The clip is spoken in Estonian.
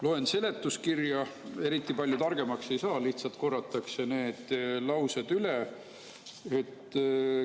Loen seletuskirja, eriti palju targemaks ei saa, lihtsalt korratakse see üle.